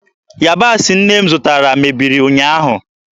Yabasị nne m zụtara mebiri ụnyaahụ.